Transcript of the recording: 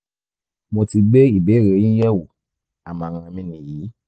mo ti gbé ìbéèrè yín yẹ̀ wò àmọ̀ràn mi nìyí